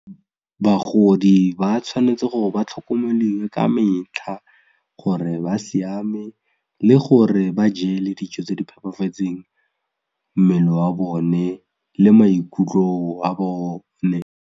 Bagodi ba tshwanetse gore ba tlhokomeliwe ka metlha gore ba siame le gore ba jele dijo tse di phepafetseng mmele wa bone le maikutlo a bone.